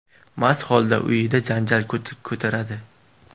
mast holda uyida janjal ko‘taradi.